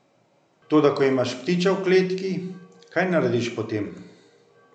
Toda ko imaš ptiča v kletki, kaj narediš potem?